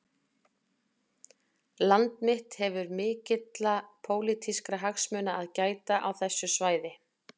Land mitt hefur mikilla pólitískra hagsmuna að gæta á þessu svæði